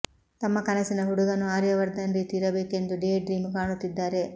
ತಮ್ಮ ಕನಸಿನ ಹುಡುಗನೂ ಆರ್ಯವರ್ಧನ್ ರೀತಿ ಇರಬೇಕೆಂದು ಡೇ ಡ್ರೀಮ್ ಕಾಣುತ್ತಿದ್ದಾರೆ